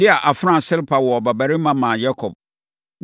Lea afenaa Silpa woo ɔbabarima maa Yakob.